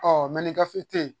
ni gafe te yen